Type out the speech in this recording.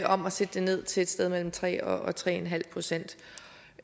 om at sætte det ned til et sted mellem tre og tre en halv procent